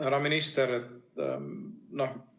Härra minister!